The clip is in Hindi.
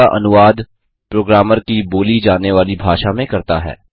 कमांड का अनुवाद प्रोग्रामर की बोली जानेवाली भाषा में करता है